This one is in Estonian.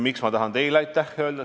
Miks ma tahan teile aitäh öelda?